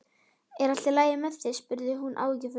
Er allt í lagi með þig? spurði hún áhyggjufull.